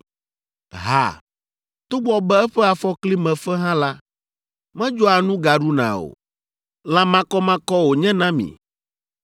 Ha, togbɔ be eƒe afɔkli me fe hã la, medzɔa nu gaɖuna o. Lã makɔmakɔ wònye na mi.